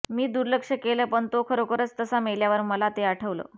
मी दुर्लक्ष केलं पण तो खरोखरच तसा मेल्यावर मला ते आठवलं